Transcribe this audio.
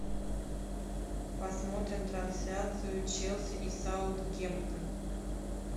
посмотрим трансляцию челси и саутгемптон